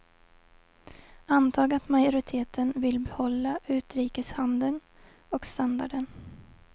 Antag att majoriteten vill behålla utrikeshandeln och standarden.